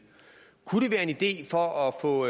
kunne det være en idé for at få